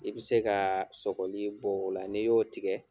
I be se kaa sɔkɔli bɔ o la ni y'o tigɛ